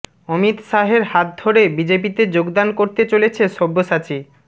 অমিত শাহের হাত ধরে বিজেপিতে যোগদান করতে চলেছে সব্যসাচী